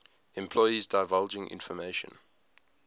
employees divulging information